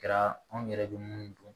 Kɛra anw yɛrɛ bɛ munnu dun